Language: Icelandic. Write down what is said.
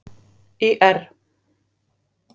Ír